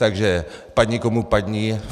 Takže padni komu padni.